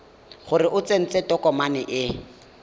gore o tsentse tokomane e